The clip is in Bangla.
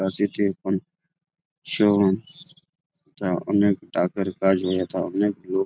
তা অনেক তাড়াতাড়ি কাজ হয়ে যেতা অনেক লোক।